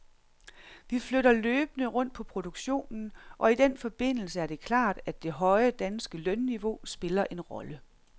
Vi flytter løbende rundt på produktionen, og i den forbindelse er det klart, at det høje, danske lønniveau spiller en rolle.